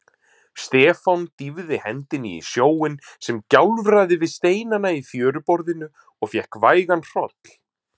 Stefán dýfði hendinni í sjóinn sem gjálfraði við steinana í fjöruborðinu og fékk vægan hroll.